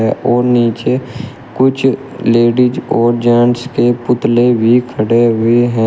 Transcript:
और नीचे कुछ लेडिस और जेंट्स के पुतले भी खड़े हुए हैं।